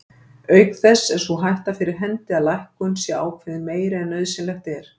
Auk þess er sú hætta fyrir hendi að lækkun sé ákveðin meiri en nauðsynlegt er.